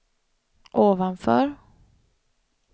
ovanför